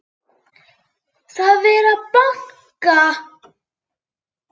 Það er verið að banka!